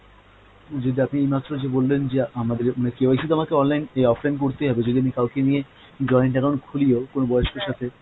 যে আপনি এইমাত্র যে বললেন যে আমাদের মানে KYC তো আমাকে online এই offline করতেই হবে, যদি আমি কাউকে নিয়ে joint account খুলিও কোনো বয়স্কের সাথে,